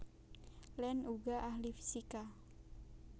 Land uga ahli fisika